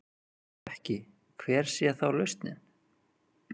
Ef ekki, hver sé þá lausnin?